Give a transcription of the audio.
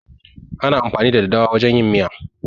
Ana amfani da daddawa wajen yin miya.